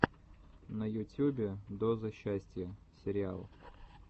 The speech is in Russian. на ютюбе доза счастья сериал